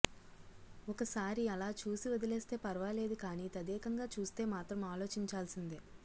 ఒకసారి అలా చూసి వదిలేస్తే ఫర్వాలేదు కానీ తదేకంగా చూస్తే మాత్రం ఆలోచించాల్సిందే